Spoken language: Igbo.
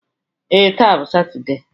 Ee, taa bụ Satọde.